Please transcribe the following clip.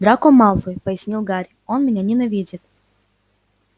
драко малфой пояснил гарри он меня ненавидит